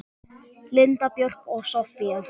Linda Björk og Soffía.